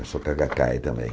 Eu sou também.